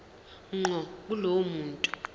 ngqo kulowo muntu